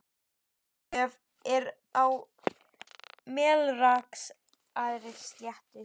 Raufarhöfn er á Melrakkasléttu.